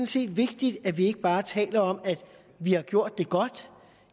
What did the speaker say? set vigtigt at vi ikke bare taler om at vi har gjort det godt